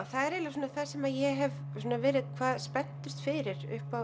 það er eiginlega það sem ég hef verið hvað spenntust fyrir upp á